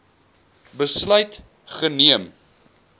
besluit geneem